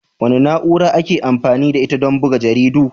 Wace na'ura ake amfani da ita don buga jaridu?